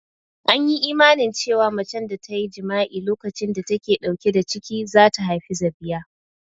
An yi imanin cewa macen da ta yi jima'i a lokacin da ta ke ɗauke da ciki za ta haifi zabiya